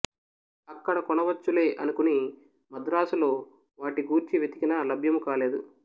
అక్కడ కొనవచ్చులే అనుకుని మద్రాస్ లో వాటి గూర్చి వెతికినా లభ్యము కాలేదు